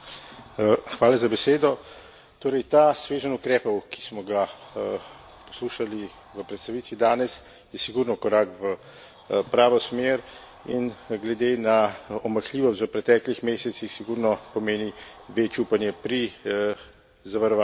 Ta sveženj ukrepov, ki smo ga poslušali v predstavitvi danes, je sigurno korak v pravo smer in glede na omahljivost v preteklih mesecih sigurno pomeni več upanja pri zavarovanju tako imenovanih zunanjih meja.